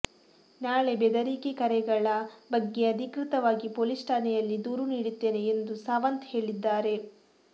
ನಾಳೆ ಬೆದರಿಕೆ ಕರೆಗಳಱ ಬಗ್ಗೆ ಅಧಿಕೃತವಾಗಿ ಪೊಲೀಸ್ ಠಾಣೆಯಲ್ಲಿ ದೂರು ನೀಡುತ್ತೇನೆ ಎಂದು ಸಾವಂತ್ ಹೇಳಿದ್ದಾರೆ